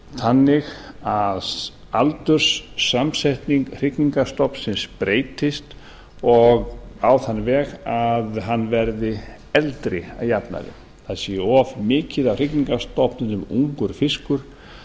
þannig að aldurssamsetning hrygningarstofnsins breytist og á þann veg að hann verði eldri að jafnaði það sé of mikið af hrygningarstofninum ungur fiskur